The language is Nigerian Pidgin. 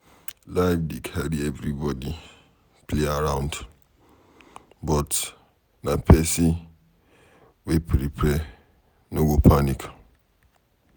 Life dey carry everybody play around but na pesin wey prepare no go panic